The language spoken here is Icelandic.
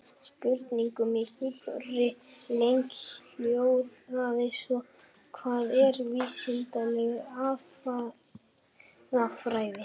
Spurningin í fullri lengd hljóðaði svona: Hvað er vísindaleg aðferðafræði?